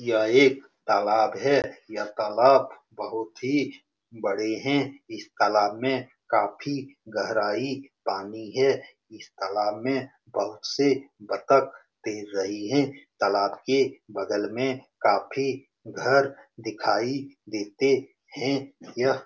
यह एक तालाब है। यह तालाब बहुत ही बड़े है। इस तालाब में काफी गहराई पानी है। इस तालाब में बहुत से बत्तख तैर रही है। तालाब के बगल में काफी घर दिखाई देते हैं यह --